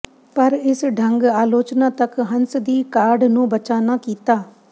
ਪਰ ਇਸ ਢੰਗ ਆਲੋਚਨਾ ਤੱਕ ਹੰਸ ਦੀ ਕਾਢ ਨੂੰ ਬਚਾ ਨਾ ਕੀਤਾ